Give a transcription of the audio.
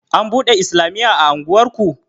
An buɗe islamiya a unguwarku?